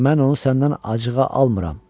Mən onu səndən acığa almıram.